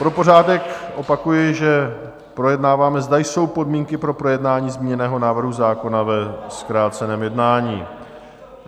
Pro pořádek opakuji, že projednáváme, zda jsou podmínky pro projednání zmíněného návrhu zákona ve zkráceném jednání.